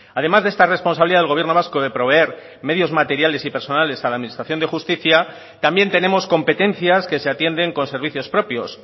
además de esta responsabilidad del gobierno vasco de proveer medios materiales y personales a la administración de justicia también tenemos competencias que se atienden con servicios propios